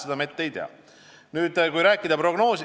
Seda me ette ei tea.